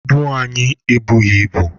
Ibu anyị ebughị ibu.